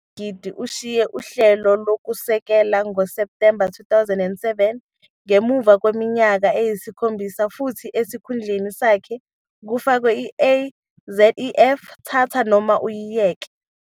. Usozigidi ushiye uhlelo kusukela ngoSepthemba 2007 ngemuva kweminyaka eyisikhombisa futhi esikhundleni sakhe kufakwe i- "A Széf", "Thatha noma" uyiyeke.